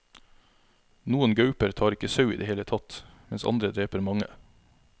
Noen gauper tar ikke sau i det hele tatt, mens andre dreper mange.